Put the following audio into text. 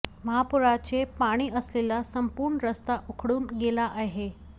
महापुराचे पाणी असलेला संपूर्ण रस्ता उखडून गेला आहे